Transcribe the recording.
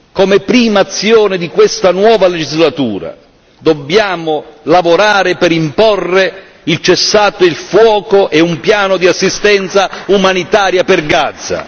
Come prima azione di questa nuova legislatura dobbiamo lavorare per imporre il cessate il fuoco e un piano di assistenza umanitaria per Gaza.